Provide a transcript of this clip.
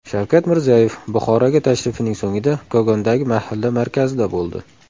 Shavkat Mirziyoyev Buxoroga tashrifining so‘ngida Kogondagi mahalla markazida bo‘ldi.